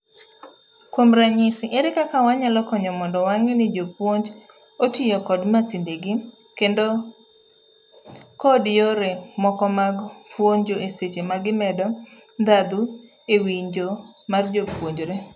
Kuom ranyisi, ere kaka wanyalo konyo mondo wang'e nijopuonj otiyo kod masindegi kendo kod yore moko mag puonjo eseche magimedo ndhadhu ewinjo mar jopuonjre.